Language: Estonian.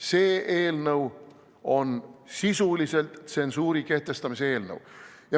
See eelnõu on sisuliselt tsensuuri kehtestamise eelnõu.